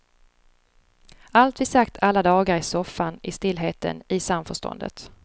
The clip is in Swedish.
Allt vi sagt alla dagar i soffan i stillheten, i samförståndet.